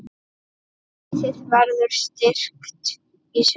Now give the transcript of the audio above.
Liðið verður styrkt í sumar.